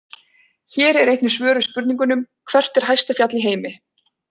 Hér er einnig svör við spurningunum: Hvert er hæsta fjall í heimi?